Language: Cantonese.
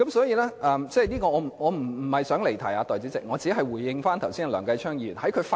代理主席，我並非想離題，我只是回應梁繼昌議員剛才的發言。